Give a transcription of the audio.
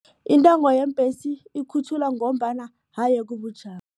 Intengo yeembhesi ikhutjhulwa ngombana aye kubujamo.